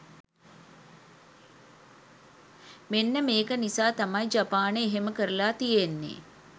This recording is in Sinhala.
මෙන්න මේක නිසා තමයි ජපානය එහෙම කරලා තියෙන්නේ.